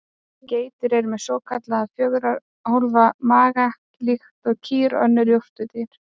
Geitur eru með svokallaðan fjögurra hólfa maga líkt og kýr og önnur jórturdýr.